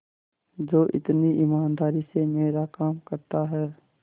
जो इतनी ईमानदारी से मेरा काम करता है